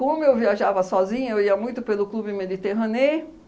Como eu viajava sozinha, eu ia muito pelo Club Mediterranee